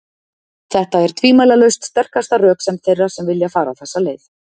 Þetta er tvímælalaust sterkasta röksemd þeirra sem vilja fara þessa leið.